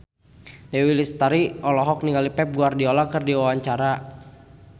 Dewi Lestari olohok ningali Pep Guardiola keur diwawancara